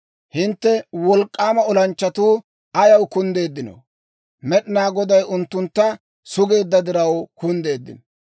Hintte wolk'k'aama olanchchatuu ayaw kunddeeddino? Med'inaa Goday unttuntta sugeedda diraw kunddeeddino.